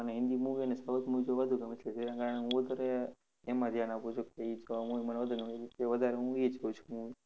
મને હિન્દી movie અને south movie જોવા વધુ ગમે છે જેના કારણે હું વધારે એમાં ધ્યાન આપું છું કે ઈ movie મને વધુ ગમે છે. વધારે હું એ જ જોવ છું movie